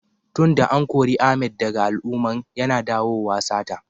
Tun da an kore Ahmed daga al'umman, yana dawowa sata.